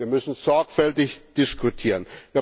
Wir müssen sorgfältig diskutieren.